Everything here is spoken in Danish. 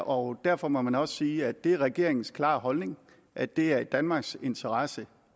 og derfor må man også sige at det er regeringens klare holdning at det er i danmarks interesse